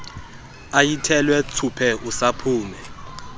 ayithelwe thsuphe usaphume